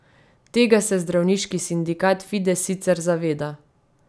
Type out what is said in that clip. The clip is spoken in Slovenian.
Tega se zdravniški sindikat Fides sicer zaveda.